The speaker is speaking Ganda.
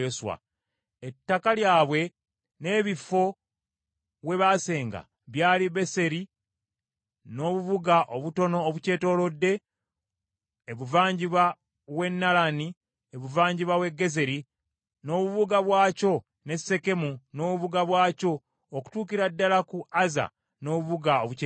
Ettaka lyabwe n’ebifo we baasenga byali Beseri n’obubuga obutono obukyetoolodde, ebuvanjuba w’e Naalani, ebugwanjuba w’e Gezeri, n’obubuga bwakyo, n’e Sekemu n’obubuga bwakyo, okutuukira ddala ku Azza n’obubuga obukyetoolodde.